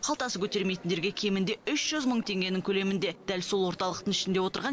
қалтасы көтермейтіндерге кемінде үш жүз мың теңгенің көлемінде дәл сол орталықтың ішінде отырған